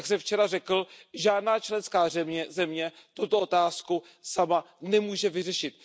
Jak jsem včera řekl, žádná členská země tuto otázku sama nemůže vyřešit.